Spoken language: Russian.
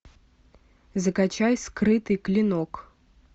закачай скрытый клинок